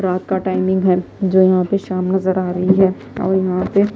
रात का टाइमिंग है जो यहां पर शाम नजर आ रही है और यहां पे--